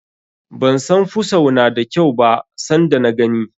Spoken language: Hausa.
Ban san fusau na da kyau ba san da na gani.